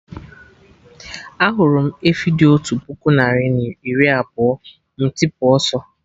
Ahụrụ m efi dị otú puku narị na iri abụọ, m tipu ọsọ